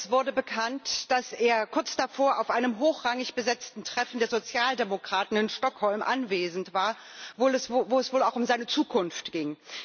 Es wurde bekannt, dass er kurz davor auf einem hochrangig besetzten Treffen der Sozialdemokraten in Stockholm anwesend war, wo es wohl auch um seine Zukunft ging.